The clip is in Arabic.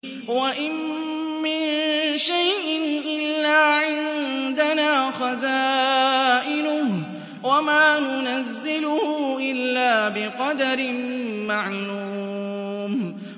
وَإِن مِّن شَيْءٍ إِلَّا عِندَنَا خَزَائِنُهُ وَمَا نُنَزِّلُهُ إِلَّا بِقَدَرٍ مَّعْلُومٍ